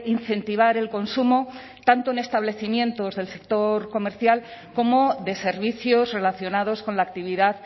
incentivar el consumo tanto en establecimientos del sector comercial como de servicios relacionados con la actividad